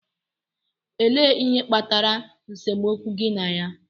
Elee ihe kpatara nsemokwu gi na ya?